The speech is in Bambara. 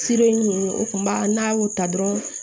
ninnu o kun b'a n'a y'o ta dɔrɔn